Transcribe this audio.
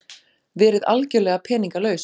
Verið algerlega peningalaus.